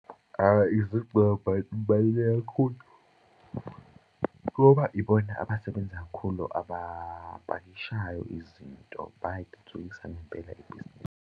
Zibululeke kakhulu ngoba ibona abasebenza kakhulu abapakishayo izinto, bayalithuthukisa ngempela ibhizinisi.